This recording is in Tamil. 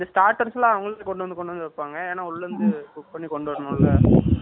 இந்த starters லாம் அவங்களே கொண்டு வந்து கொண்டு வந்து வைப்பாங்க ஏன்னா உள்ள இருந்து cook பண்ணி கொண்டு வரணும்ல